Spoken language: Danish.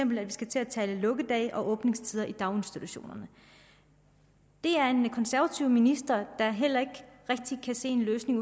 vi skal til at tale lukkedage og åbningstider i daginstitutionerne det er en konservativ minister der heller ikke rigtig kan se en løsning